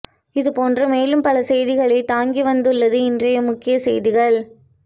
இது போன்ற மேலும் பல செய்திகளை தாங்கி வந்துள்ளது இன்றைய முக்கிய செய்திகள்